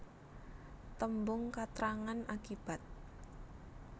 Tembung katrangan akibat